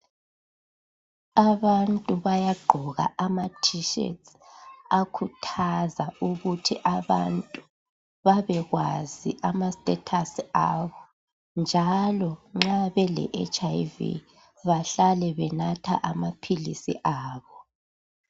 Abantu bayaqgoka ama t shirt akhuthaza ukuthi abantu babekwazi ama status abo njalo nxa bele HIV bahlale benatha amaphilisi abo